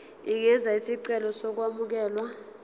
ungenza isicelo sokwamukelwa